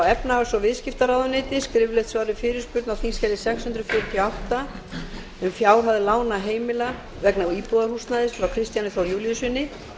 efnahags og viðskiptaráðuneyti skriflegt svar við fyrirspurn á þingskjali sex hundruð fjörutíu og átta um fjárhæð lána heimila vegna íbúðarhúsnæðis frá kristjáni þór júlíussyni